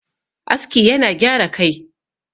aski yana gyara Kai